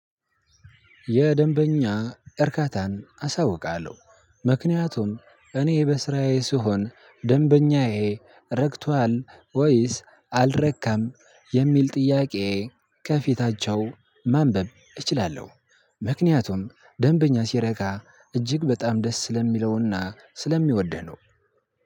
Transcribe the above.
የደንበኛ እርካታን አሳውቃለሁ። ምክንያቱም እኔ በስራዬ ስሆን ደንበኛዬ ረክቷል ወይስ አልረካም የሚል ጥያቄ ከፊታቸው ማንበብ እችላለሁ። ምክንያቱም ደንበኛ ሲረካ እጅግ በጣም ደስ ስለሚለውና ስለሚወደው ነው።